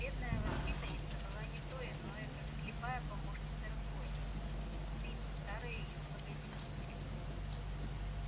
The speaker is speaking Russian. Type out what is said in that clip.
бедная воспитанница была не то иное как слепая помощница разбойница убийцы старой её благодетельницы